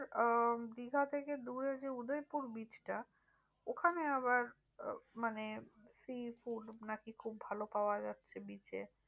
আহ দীঘা থেকে দূরে যে উদয়পুর bridge টা ওখানে আবার আহ মানে sea food নাকি খুব ভালো পাওয়া যাচ্ছে bridge এ